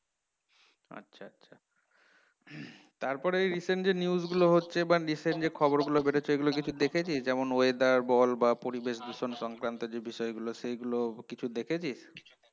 তারপরে এই recent যেই news গুলো হচ্ছে বা recent খবরগুলো বের হচ্ছে ঐগুলো কিছু দেখেছিস? যেমন weather বল বা পরিবেশ দূষণ সংক্রান্ত যে বিষয়গুলো সেই গুলো কিছু দেখেছিস?